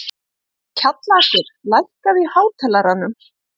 Kjallakur, lækkaðu í hátalaranum.